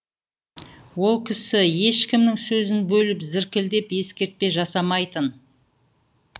ол кісі ешкімнің сөзін бөліп зіркілдеп ескертпе жасамайтын